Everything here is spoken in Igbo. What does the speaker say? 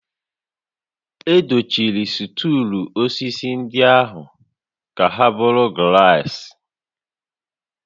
Edochiri stuulu osisi ndị ahụ ka ha bụrụ glaasị